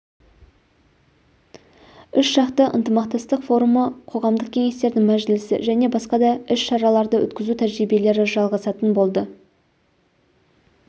үш жақты ынтымақтастық форумы қоғамдық кеңестердің мәжілісі және басқа да іс-шараларды өткізу тәжірибелері жалғасатын болады